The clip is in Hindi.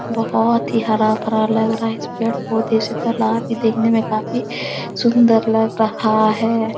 बहुत ही हरा-भरा लग रहा है इस पेड़-पौधे से तालाब भी देखने मे काफी सुन्दर लग रहा है।